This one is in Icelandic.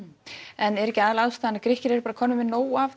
en er ekki aðalástæðan að Grikkir eru bara komnir með nóg af